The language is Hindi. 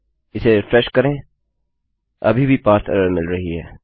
इसे रिफ्रेश करें अभी भी पारसे एरर मिल रही है